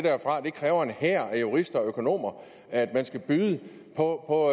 kræver en hær af jurister og økonomer at der skal bydes på